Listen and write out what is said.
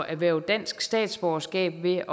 erhverve dansk statsborgerskab ved